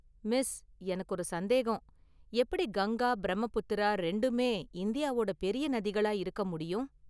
Miss எனக்கு ஒரு சந்தேகம், எப்படி கங்கா, பிரம்மபுத்திரா ரெண்டுமே இந்தியாவோட பெரிய​ நதிகளா இருக்க முடியும்?